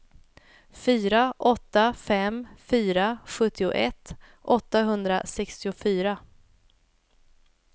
fyra åtta fem fyra sjuttioett åttahundrasextiofyra